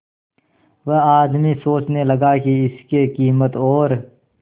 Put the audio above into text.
वह आदमी सोचने लगा की इसके कीमत और